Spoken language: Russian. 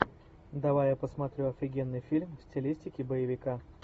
давай я посмотрю офигенный фильм в стилистике боевика